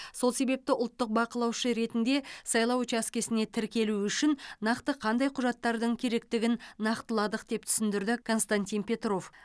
сол себепті ұлттық бақылаушы ретінде сайлау учаскесіне тіркелу үшін нақты қандай құжаттардың керектігін нақтыладық деп түсіндірді константин петров